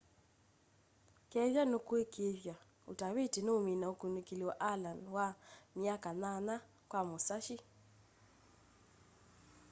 kethwa nukwikiithwa utaviti nuumina ukunikili wa allen wa myaka nyanya kwa musashi